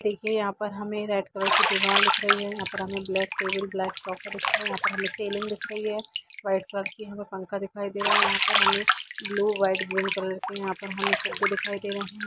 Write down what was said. देखिये यहाँ पे हमें रेड कलर की दीवार दिख रही है यहाँ पे हमें ब्लैक टेबल ब्लैक दिख रहा है यहाँ पे हमें सेलिंग दिख रही है वाइट कलर की पंखा दिखाई दे रहा है यहाँ पे हमें ब्लू वाइट कलर के यहाँ पे हमें फुग्गे दिखाई दे रहे हैं।